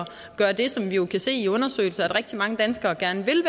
gøre det som vi jo kan se i undersøgelser at rigtig mange danskere gerne vil